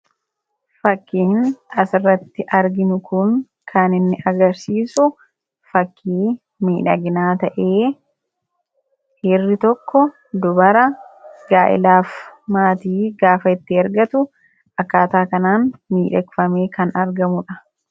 Fakkiin asirratti arginu kun kanninmi agarsiisu fakkii miidhaginaa ta'ee dhiirri tokko dubara gaa'elaaf maatii gaafatee argatu akkaataa kanaan miidhagfamee kan argamudha.